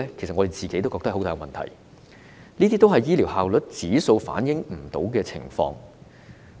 我們都知道有這些問題，但醫療效率指數未能反映有關的情況。